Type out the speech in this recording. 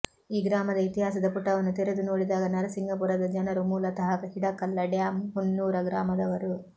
ಈ ಗ್ರಾಮದ ಇತಿಹಾಸದ ಪುಟವನ್ನು ತೆರೆದು ನೋಡಿದಾಗ ನರಸಿಂಗಪುರದ ಜನರು ಮೂಲತಃ ಹಿಡಕಲ್ಲ ಡ್ಯಾಮ್ ಹೂನ್ನೂರ ಗ್ರಾಮದವರು